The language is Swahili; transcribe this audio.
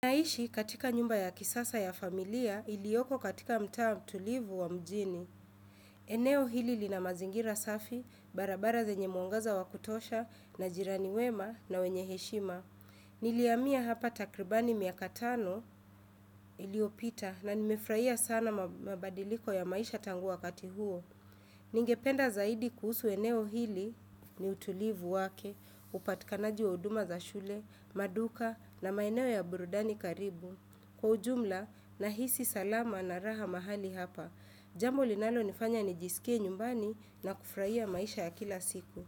Naishi katika nyumba ya kisasa ya familia ilioko katika mtaa wa mtulivu wa mjini. Eneo hili lina mazingira safi, barabara zenye mwangaza wa kutosha, na jirani wema, na wenye heshima. Niliamia hapa takribani miaka tano iliopita na nimefurahia sana mabadiliko ya maisha tangua kati huo. Ningependa zaidi kuhusu eneo hili ni utulivu wake, upatikanaji wa uduma za shule, maduka, na maeneo ya burudani karibu. Kwa ujumla nahisi salama na raha mahali hapa. Jambo linalo nifanya nijisikie nyumbani na kufurahia maisha ya kila siku.